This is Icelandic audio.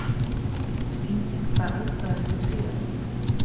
Á kærasta Börn: Engin Hvað eldaðir þú síðast?